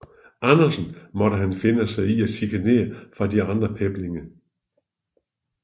Andersen måtte han finde sig i chikane fra de andre peblinge